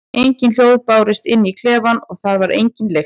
Engin hljóð bárust inn í klefann og þar var engin lykt.